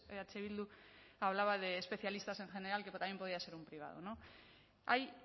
eh bildu hablaba de especialistas en general que también podía ser un privado no ahí